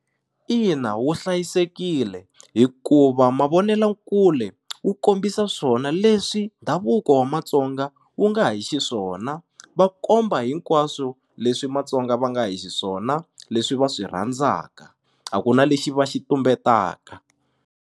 Ina wu hlayisekile hikuva mavonelakule wu kombisa swona leswi ndhavuko wa Matsonga wu nga hi xiswona va komba hinkwaswo leswi Matsonga va nga hi xiswona leswi va swi rhandzaka a ku na lexi va xi tumbetaka.